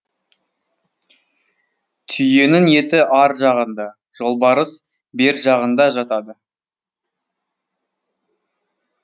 түйенің еті ар жағында жолбарыс бер жағында жатады